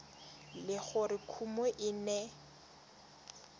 le gore kumo e ne